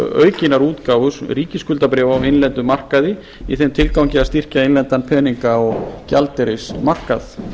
aukinnar útgáfu ríkisskuldabréfa á innlendum markaði í þeim tilgangi að styrkja innlendan peninga og gjaldeyrismarkað